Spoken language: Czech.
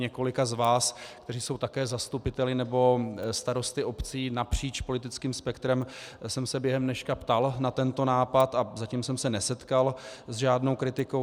Několika z vás, kteří jsou také zastupiteli nebo starosty obcí napříč politickým spektrem, jsem se během dneška ptal na tento nápad a zatím jsem se nesetkal s žádnou kritikou.